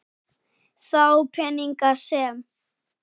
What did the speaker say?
Þá peninga sem